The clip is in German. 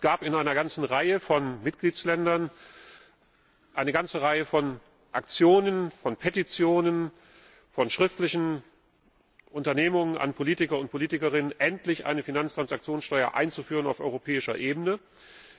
Es gab in einer ganzen Reihe von Mitgliedstaaten eine ganze Reihe von Aktionen, von Petitionen, von schriftlichen Unternehmungen an Politiker und Politikerinnen, endlich eine Finanztransaktionssteuer auf europäischer Ebene einzuführen.